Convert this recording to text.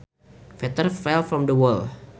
Peter fell from the wall